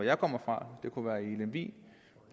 jeg kommer fra lemvig